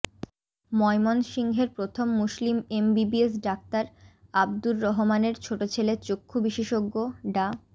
ময়মনসিংহের প্রথম মুসলিম এমবিবিএস ডাক্তার আবদুর রহমানের ছোট ছেলে চক্ষু বিশেষজ্ঞ ডা